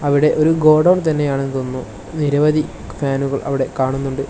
അവിടെ ഒരു ഗോഡൗൺ തന്നെ ആണെന്ന് തോന്നുന്നു നിരവധി ഫാനുകൾ അവിടെ കാണുന്നുണ്ട്.